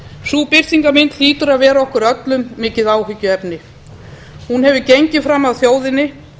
sú birtingarmynd hlýtur að vera okkur öllum mikið áhyggjuefni hún hefur gengið fram af þjóðinni